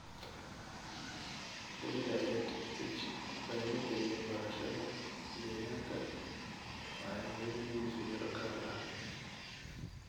WiderEdTech baridda iyo barashada deegaanka waxay mudan yihiin fiiro gaar ah.